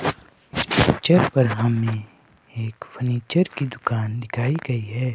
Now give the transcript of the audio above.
छत पर हमे एक फर्नीचर की दुकान दिखाई गई है।